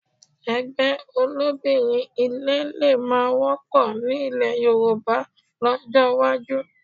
Ẹgbẹ́ olóbìnrin ilé lè má wọ́pọ̀ ní ilẹ̀ Yorùbá lọ́jọ́ iwájú